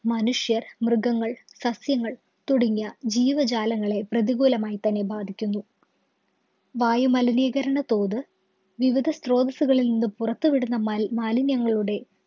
മനുഷ്യര്‍, മൃഗങ്ങള്‍, സസ്യങ്ങള്‍ തുടങ്ങിയ ജീവജാലങ്ങളെ പ്രതികൂലമായി തന്നെ ബാധിക്കുന്നു. വായുമലിനീകരണ തോത് വിവിധ സ്രോതസ്സുകളില്‍ നിന്ന് പുറത്തുവിടുന്ന മല്‍മാലിന്യങ്ങളുടെ